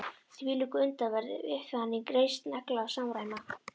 Hvílík undraverð upphafning, reisn, regla og samræmi